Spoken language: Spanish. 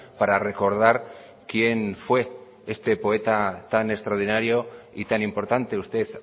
para recordar quién fue este poeta tan extraordinario y tan importante usted